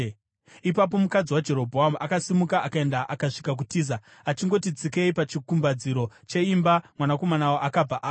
Ipapo mukadzi waJerobhoamu akasimuka akaenda, akasvika kuTiza. Achingoti tsikei pachikumbaridzo cheimba, mwanakomana akabva afa.